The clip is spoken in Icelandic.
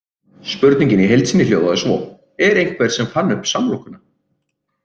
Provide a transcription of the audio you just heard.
Spurningin í heild sinni hljóðaði svo: Er einhver sem fann upp samlokuna?